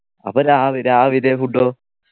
അപ്പൊ രാവി രാവിലെ food ഓ